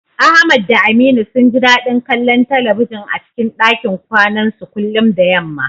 Ahmad da Aminu sun ji dadin kallon talbijin a cikin dakin kwanansu kullum da yamma.